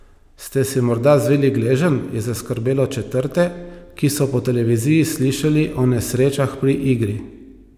Sta si morda zvili gleženj, je zaskrbelo četrte, ki so po televiziji slišali o nesrečah pri igri.